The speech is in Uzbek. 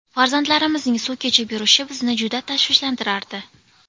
Farzandlarimizning suv kechib yurishi bizni juda tashvishlantirardi.